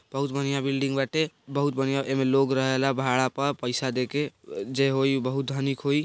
बहुत बढ़िया बिल्डिंग बाटे बहुत बढ़िया एमे लोग रहेला भाड़ा पे पैसा देके जे होइ बहुत धनिक होइ।